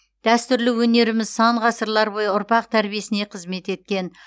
дәстүрлі өнеріміз сан ғасырлар бойы ұрпақ тәрбиесіне қызмет еткен